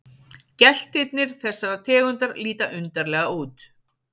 Geltirnir þessarar tegundar líta undarlega út.